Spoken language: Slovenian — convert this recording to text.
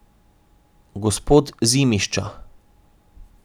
Gospod Zimišča.